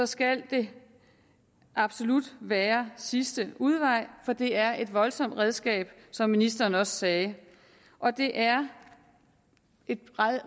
skal det absolut være sidste udvej for det er et voldsomt redskab som ministeren også sagde og det er et